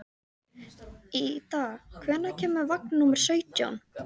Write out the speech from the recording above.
Ída, hvenær kemur vagn númer sautján?